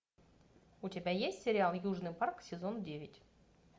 у тебя есть сериал южный парк сезон девять